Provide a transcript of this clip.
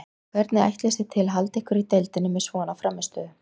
Hvernig ætlist þið til að halda ykkur í deildinni með svona frammistöðu?